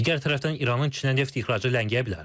Digər tərəfdən İranın Çinə neft ixracı ləngiyə bilər.